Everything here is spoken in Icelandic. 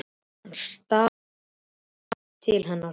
Hann staldrar við og lítur til hennar.